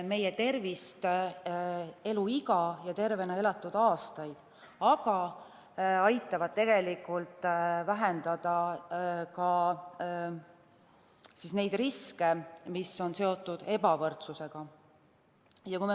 ... meie tervist, eluiga ja tervena elatud aastaid, aga aitavad vähendada ka neid riske, mis on seotud ebavõrdsusega.